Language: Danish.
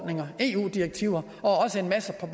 direktiver og en masse af